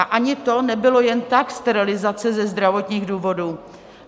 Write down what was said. A ani to nebylo jen tak, sterilizace ze zdravotních důvodů.